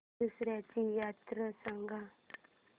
दसर्याची यात्रा सांगा